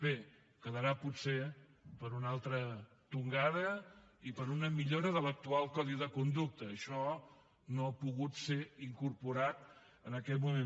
bé quedarà potser per a una altra tongada i per a una millora de l’actual codi de conducta això no hi ha pogut ser incorporat en aquest moment